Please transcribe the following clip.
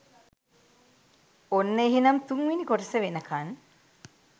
ඔන්න එහෙනම් තුන්වෙනි කොටස වෙනකන්